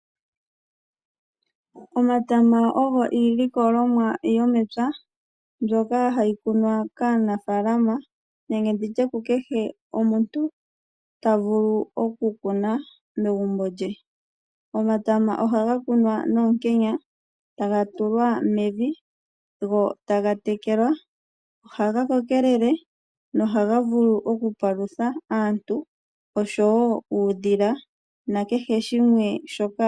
Omatama ogo iilikolomwa yomepya mbyoka hayi kunwa kaanafaalama nenge kukehe omuntu ta vulu okukuna megumbo lye. Omatama ohaga kunwa noonkenya, taga tulwa mevi go taga tekelwa. Ohaga kokelele nohaga vulu okupalutha aantu oshowo uudhila.